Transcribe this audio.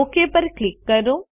okay પર click કરો